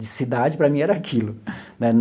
De cidade, para mim, era aquilo né.